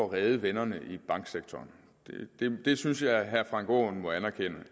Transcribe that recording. redde vennerne i banksektoren det synes jeg at herre frank aaen må anerkende